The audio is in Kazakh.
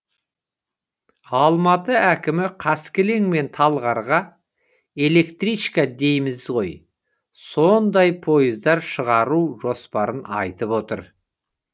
алматы әкімі қаскелең мен талғарға электричка дейміз ғой сондай пойыздар шығару жоспарын айтып отыр